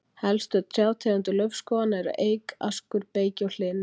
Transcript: Helstu trjátegundir laufskóganna eru eik, askur, beyki og hlynur.